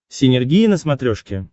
синергия на смотрешке